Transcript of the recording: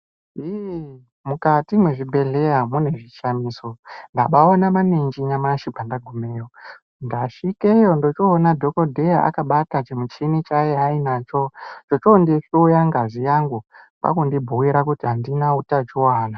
Iii mukati mwezvibhedhleya mune zvishamiso. Ndabaaone maninji nyamushi pandagumeyo ndasvikeyo ndochoona dhokodheya akabata chimuchini chaiya nacho chochondihloya ngazi yangu kwakundibhuira kuti andina utachiwana.